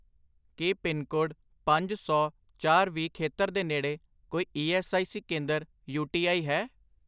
ਕੀ pincode ਪੰਜ ਸੌ, ਚਾਰ, ਵੀਹ ਖੇਤਰ ਦੇ ਨੇੜੇ ਕੋਈ ਈ ਐੱਸ ਆਈ ਸੀ ਕੇਂਦਰ ਯੂ.ਟੀ.ਆਈ ਹੈ?